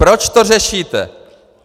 Proč to řešíte?